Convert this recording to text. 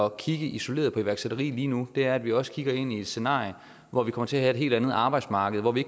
at kigge isoleret på iværksætteri lige nu er at vi også kigger ind i et scenarie hvor vi kommer til at have et helt andet arbejdsmarked hvor vi